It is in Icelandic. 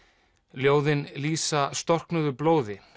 ljóðin lýsa storknuðu blóði